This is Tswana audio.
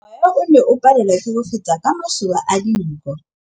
Mowa o ne o palelwa ke go feta ka masoba a dinko.